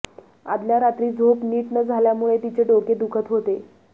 आदल्या रात्री झोप नीट न झाल्यामूळे तिचे डोके दुखत होते